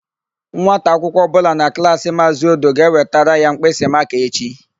Nwata akwụkwọ ọbụla na Klaasị Maazị Odo ga-ewetara ya mkpịsịmakaa echi.